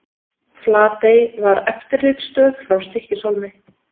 Flatey var eftirlitsstöð frá Stykkishólmi.